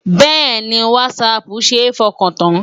Bẹ́ẹ̀ni, Whatsapp ṣe é fọkàn tán.